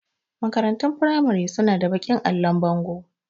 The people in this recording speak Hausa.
Makarantun firamari su na da baƙin allon bango